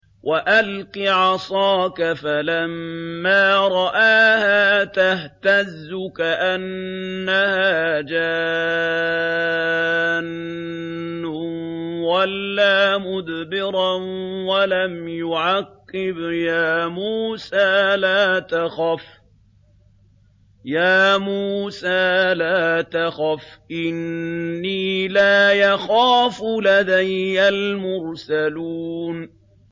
وَأَلْقِ عَصَاكَ ۚ فَلَمَّا رَآهَا تَهْتَزُّ كَأَنَّهَا جَانٌّ وَلَّىٰ مُدْبِرًا وَلَمْ يُعَقِّبْ ۚ يَا مُوسَىٰ لَا تَخَفْ إِنِّي لَا يَخَافُ لَدَيَّ الْمُرْسَلُونَ